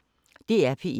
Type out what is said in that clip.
DR P1